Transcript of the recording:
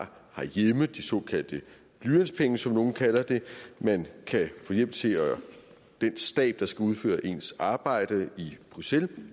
herhjemme de såkaldte blyantspenge som nogle kalder dem man kan få hjælp til den stab der skal udføre ens arbejde i bruxelles